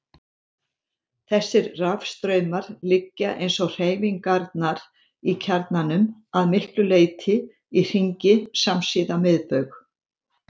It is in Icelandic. Þessir rafstraumar liggja, eins og hreyfingarnar í kjarnanum, að miklu leyti í hringi samsíða miðbaug.